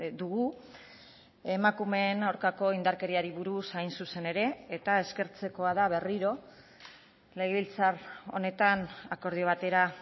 dugu emakumeen aurkako indarkeriari buruz hain zuzen ere eta eskertzekoa da berriro legebiltzar honetan akordio batera